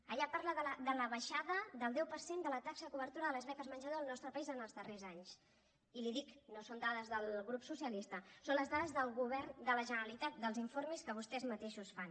allà parla de la baixada del deu per cent de la taxa de cobertura de les beques menjador al nostre país en els darrers anys i li ho dic no són dades del grup socialista són les dades del govern de la generalitat dels informes que vostès mateixos fan